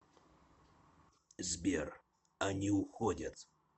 сбер они уходят